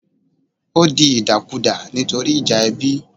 Ó di ìdàkudà nítorí ìjà ẹbí